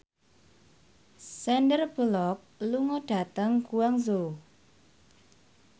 Sandar Bullock lunga dhateng Guangzhou